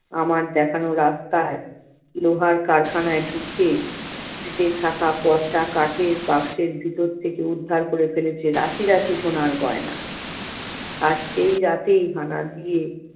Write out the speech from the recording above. আমার দেখানো রাস্তায়, লোহার কারখানায় ঢুকে উল্টে থাকা পচা কাঠের বাক্সের ভেতর থেকে উদ্ধার করে ফেলেছে রাশি রাশি সোনার গয়না। আর সেই রাতেই হানা দিয়ে-